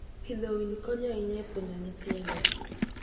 Pidho winy konyo ahinya e puonjo nyithindo.